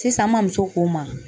Sisan an ma muso k'o n ma.